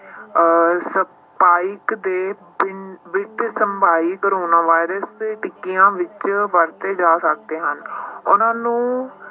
ਅਹ spike ਦੇ ਪਿੰ~ ਵਿੱਚ ਕੋਰੋਨਾ ਵਾਇਰਸ ਟਿੱਕੀਆਂ ਵਿੱਚ ਵੱਧਦੇ ਜਾ ਸਕਦੇ ਹਨ ਉਹਨਾਂ ਨੂੰ